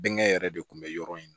Bɛnkɛ yɛrɛ de kun bɛ yɔrɔ in na